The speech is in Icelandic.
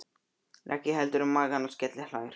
Raggi heldur um magann og skelli hlær.